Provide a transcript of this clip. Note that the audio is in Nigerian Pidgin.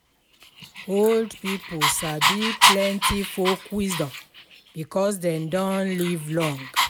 Old pipo sabi plenty folk wisdom because dem don live long.